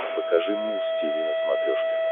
покажи муз тиви на смотрешке